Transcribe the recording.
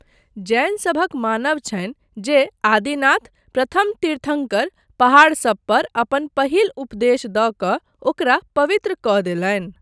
जैनसभक मानब छनि जे आदिनाथ, प्रथम तीर्थङ्कर, पहाड़सभपर अपन पहिल उपदेश दऽ कऽ ओकरा पवित्र कऽ देलनि।